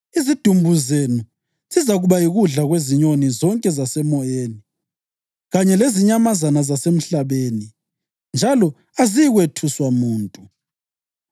Izidumbu zenu zizakuba yikudla kwezinyoni zonke zasemoyeni, kanye lezinyamazana zasemhlabeni, njalo aziyikwethuswa muntu.